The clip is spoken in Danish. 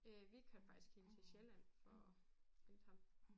Øh vi kørte faktisk helt til Sjælland for at hente ham